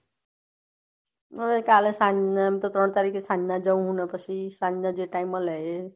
હવે કાલે સાંજ ના એમ તો ત્રણ તારીખે સાંજના જવું ને સાંજના જે time મળે એ